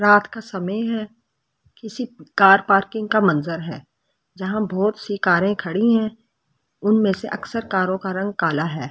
रात का समय है किसी कार पार्किंग का मंजर है जहां बहुत सी कारें खड़ी हैं उनमें से अक्सर कारों का रंग काला है।